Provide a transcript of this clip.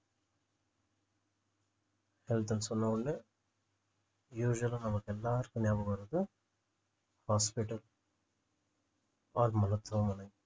health ன்னு சொன்ன உடனே usual ஆ நமக்கு எல்லாருக்கும் நியாபகம் வர்றது hospital or மருத்துவமனை